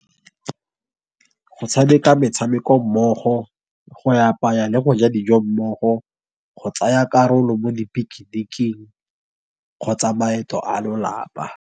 Go tshameka metshameko mmogo, go apaya le go ja dijo mmogo, go tsaya karolo mo di-picnic-king kgotsa maeto a lolapa.